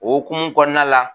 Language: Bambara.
O hokumu kɔnɔna la.